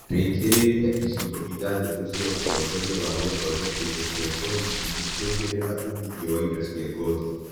Rĩkĩrĩria icigo ithathatu cia ũtongoria wa gũthongeka indo cia ngothi nĩgũo kũongerea uumitho wa indo cia ngothi